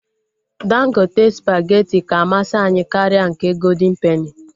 Dangote spageti ka amasị anyị karịa nke goldịn peni